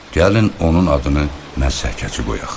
Gəlin onun adını məhsəkəçi qoyaq.